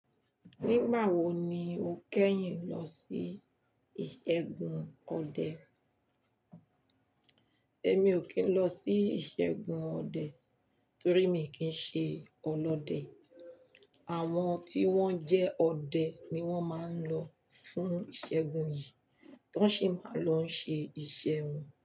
Nígbà wo ni o kẹ́yìn lọ sí ìṣẹ́gun ọdẹ? Èmi ò kí n lọ sí ìṣẹ́gun ọdẹ torí mi kì í ṣe ọlọ́dẹ. Àwọn tí wọ́n jẹ́ ọdẹ ni wọ́n máa ń lọ fún ìṣẹ́gun yìí, tán ṣì máa lọ ń ṣe iṣẹ́ wọn.